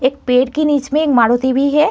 एक पेड़ के नीचे एक मारुती भी है।